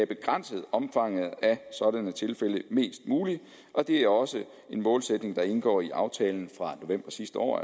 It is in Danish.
begrænset omfanget af sådanne tilfælde mest muligt og det er også en målsætning der indgår i aftalen fra november sidste år